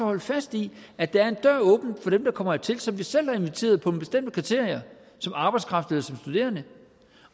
holde fast i at der er en dør åben for dem der kommer hertil som vi selv har inviteret på nogle bestemte kriterier som arbejdskraft eller som studerende